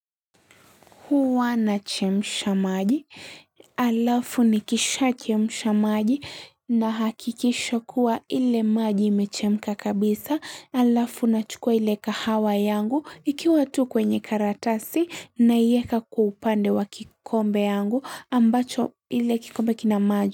Huwa nachemsha maji, halafu nikishachemsha maji nahakikisha kuwa ile maji imechemka kabisa, alafu nachukua ile kahawa yangu ikiwa tu kwenye karatasi naieka kwa upande wa kikombe yangu ambacho ile kikombe kina maji.